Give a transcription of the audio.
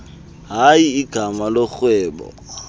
hayi igama lorhwebo